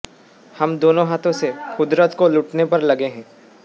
हम दोनों हाथों से कुदरत को लूटने पर लगे हैं